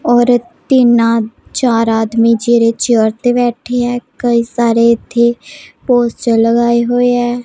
ਔਰ ਤੀਨਾ ਚਾਰ ਆਦਮੀ ਜਿਹੜੇ ਚੇਅਰ ਤੇ ਬੈਠੇ ਆ ਕਈ ਸਾਰੇ ਇਥੇ ਪੋਸਟਰ ਲਗਾਏ ਹੋਏ ਐ।